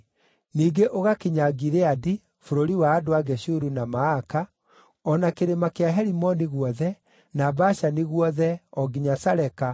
Ningĩ ũgakinya Gileadi, bũrũri wa andũ a Geshuru na Maaka, o na kĩrĩma kĩa Herimoni guothe, na Bashani guothe, o nginya Saleka,